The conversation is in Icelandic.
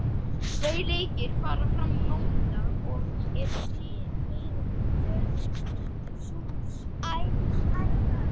Tveir leikir fara fram í mótinu í dag og eru liður í fjórðungsúrslitunum.